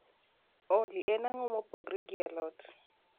olly en ango mopogore gi a lot